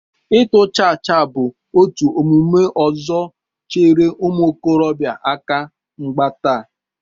Ịtụ chaachaa bụ otu omume ọzọ chere ụmụ okorobịa aka mgba taa